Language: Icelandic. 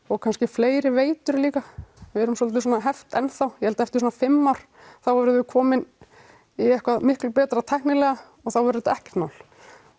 og kannski fleiri veitur líka við erum svolítið svona heft enn þá ég held að eftir svona fimm ár verðum við komin í eitthvað miklu betra tæknilega og þá verður þetta ekkert mál